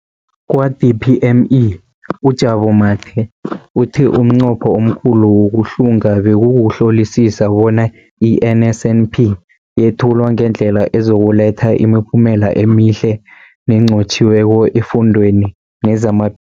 Kwa-DPME, uJabu Mathe, uthe umnqopho omkhulu wokuhlunga bekukuhlolisisa bona i-NSNP yethulwa ngendlela ezokuletha imiphumela emihle nenqotjhiweko efundweni nezamaphilo wabafundi.